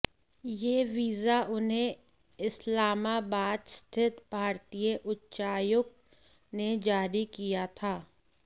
यह वीजा उन्हें इस्लामाबाद स्थित भारतीय उच्चायुक्त ने जारी किया था